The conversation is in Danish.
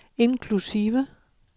inklusive